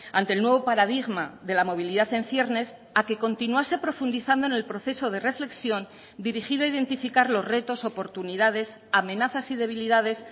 ante el nuevo paradigma de la movilidad en ciernes a que continuase profundizando en el proceso de reflexión dirigido a identificar los retos oportunidades amenazas y debilidades